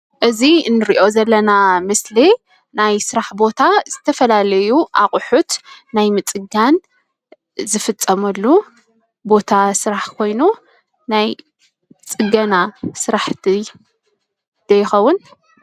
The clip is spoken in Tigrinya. እዚ እንሪኦ ዘለና ምስሊ ናይ ስራሕ ቦታ ዝተፈላለዩ ኣቁሑት ናይ ምፅጋን ዝፍፀመሉ ቦታ ስራሕ ኾይኑ ናይ ፅገና ስራሕቲ ዶ ይኸውን?